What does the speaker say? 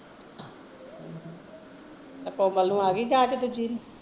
ਤੇ ਕੋਮਲ ਨੂ ਆ ਗਈ ਜਾਂਚ